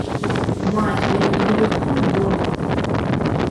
матч ливерпуль борнмут